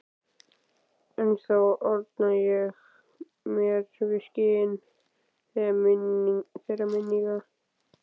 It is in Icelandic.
Ennþá orna ég mér við skin þeirra minninga.